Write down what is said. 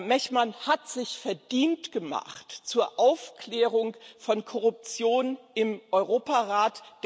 Mehman hat sich verdient gemacht um Aufklärung von Korruption im Europarat.